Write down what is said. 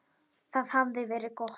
Það hafði verið gott.